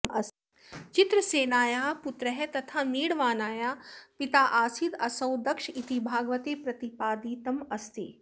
चित्रसेनायाः पुत्रः तथा मीढवानाया पिताऽऽसीदसौ दक्ष इति भागवते प्रतिपादितमस्ति